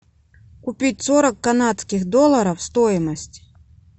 купить сорок канадских долларов стоимость